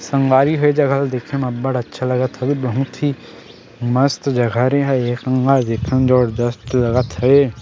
. संगवारी हो ए जगह ल देखे म बड़ा अच्छा लगत हवे बहुत ही मस्त जगह रे ह एक नम्बर देखे म जबरजस्त लगत हे ।